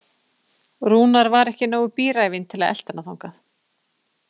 Rúnar var ekki nógu bíræfinn til að elta hana þangað.